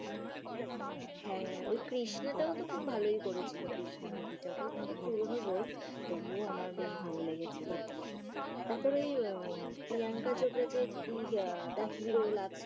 হ্যা ওই কৃষ্ণাটাও তো খুব ভালোই করেছিল কৃষ্ণা movie টা ওটা অনেক পুরোনো বই তবুও আমারবেশ ভালো লেগেছিল। তারপরে ওই প্রিয়াঙ্কা চোপড়া যে the hero